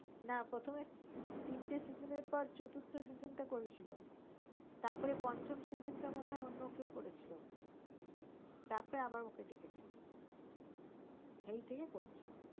না প্রথমে তিনটে season পর চতুর্থ season করেছিল তারপর পঞ্চম season টা মনে হয় অন্য কেও করেছিল তার পর আবার ওকে ডেকেছিল হেই থেকে করছে ও